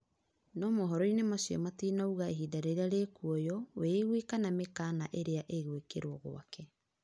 No mohoroĩnĩ macĩo matĩnaũga ĩhinda rĩrĩa rĩkũoywo, wĩigwi kana mĩkana ĩrĩa ĩgwĩkĩrwo gwake